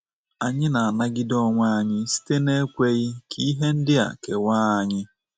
Anyị na-anagide onwe anyị site na ekweghị ka ihe ndị a kewaaa anyị